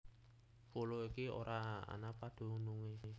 Pulo iki ora ana padunungé